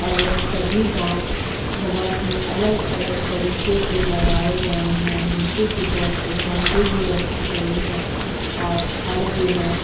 और यह सभी बाँस बहुत ही अलग -अलग तरीके से लगाए गए है नीचे की तरफ एक बाउंड्री भी रखी गयी है और छड़ भी हैं।